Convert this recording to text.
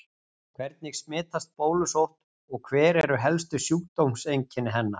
Hvernig smitast bólusótt og hver eru helstu sjúkdómseinkenni hennar?